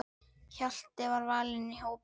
Hjalti var valinn í hópinn.